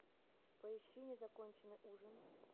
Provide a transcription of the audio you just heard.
поищи незаконченный ужин